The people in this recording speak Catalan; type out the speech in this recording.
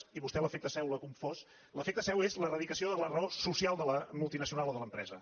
i a vostè l’efecte seu l’ha confós l’efecte seu és la radicació de la raó social de la multinacional o de l’empresa